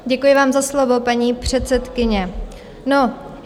Děkuji vám za slovo, paní předsedkyně.